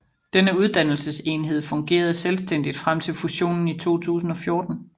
Denne uddannelsesenhed fungerede selvstændigt frem til fusionen i 2014